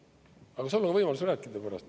Aga sul on võimalus rääkida pärast.